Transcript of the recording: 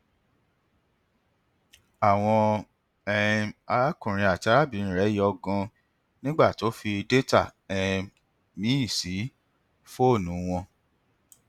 àwọn um arákùnrin àti arábìnrin rẹ yọ ganan nígbà tó fi data um míì sí fọọnù wọn